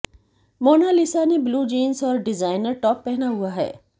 Mona Lisa ने blue jeans और designer top पहना हुआ है